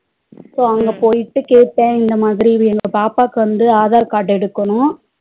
So அங்க போயிட்டு கேட்ட இன்னமாதிரி எங்க பாப்பாக்கு வந்து aadhar card எடுக்கணும்